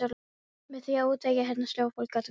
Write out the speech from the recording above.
Með því að útvega heyrnarsljóu fólki atvinnu.